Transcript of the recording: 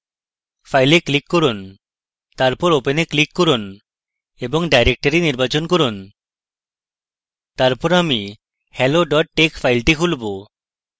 fileএ click করুন তারপর open click করুন এবং directory নির্বাচন করুন তারপর আমি hello tex file খুলব